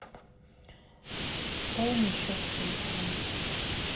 пополни счет телефона